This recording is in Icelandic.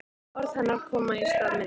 Orð hennar koma í stað minna.